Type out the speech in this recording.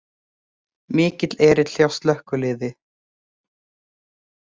Mikill erill hjá slökkviliði